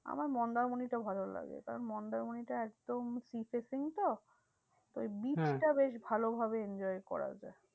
আমার মন্দারমণিটা ভালো লাগে। কারণ মন্দারমণিটা একদম sea facing তো তো ওই beach টা বেশ ভালোভাবে enjoy করা যায়।